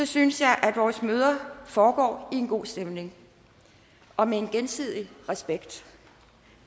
synes jeg at vores møder foregår i en god stemning og med en gensidig respekt